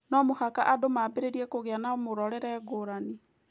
No mũhaka andũ maambĩrĩrie kũgĩa na mũrorere ngũrani